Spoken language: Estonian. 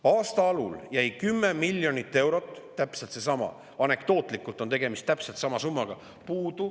Aasta alul jäi puudu 10 miljonit eurot, anekdootlikult on tegemist täpselt sama summaga.